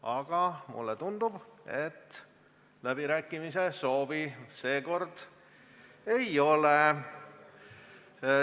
Aga mulle tundub, et läbirääkimiste soovi seekord ei ole.